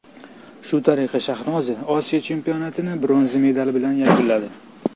Shu tariqa Shahnoza Osiyo chempionatini bronza medali bilan yakunladi.